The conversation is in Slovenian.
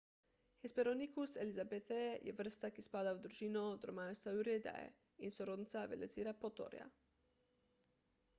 hesperonychus elizabethae je vrsta ki spada v družino dromaeosauridae in je sorodnica velociraptorja